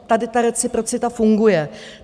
Tady ta reciprocita funguje.